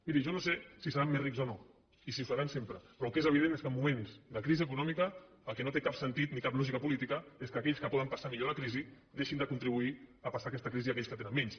miri jo no sé si seran més rics o no i si ho seran sempre però el que és evident és que en moments de crisi econòmica el que no té cap sentit ni cap lògica política és que aquells que poden passar millor la crisi deixin de contribuir a passar aquesta crisi a aquells que tenen menys